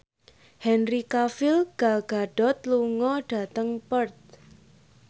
Henry Cavill Gal Gadot lunga dhateng Perth